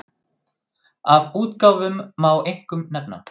Af útgáfum má einkum nefna